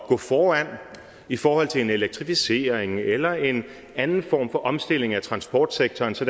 gå foran i forhold til en elektrificering eller en anden form for omstilling af transportsektoren så